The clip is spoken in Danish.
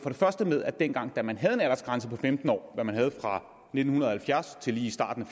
med at dengang man havde en aldersgrænse på femten år hvad man havde fra nitten halvfjerds til lige i starten af